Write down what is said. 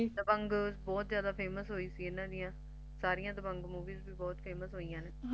Dabang ਬਹੁਤ ਜਾਦਾ Famous ਹੋਇ ਸੀ ਇਹਨਾਂ ਦਿਆ ਸਾਰੀ Dabang Movie Famous ਹੋਈਆ ਨੇ